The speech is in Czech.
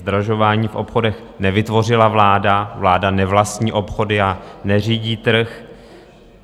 Zdražování v obchodech nevytvořila vláda, vláda nevlastní obchody a neřídí trh.